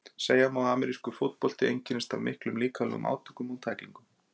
segja má að amerískur fótbolti einkennist af miklum líkamlegum átökum og tæklingum